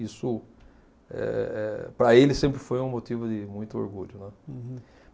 Isso, eh eh para ele, sempre foi um motivo de muito orgulho, né. Uhum